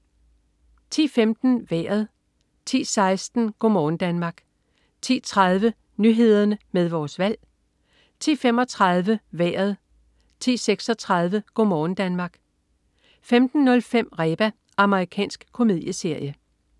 10.15 Vejret 10.16 Go' morgen Danmark 10.30 Nyhederne med Vores Valg 10.35 Vejret 10.36 Go' morgen Danmark 15.05 Reba. Amerikansk komedieserie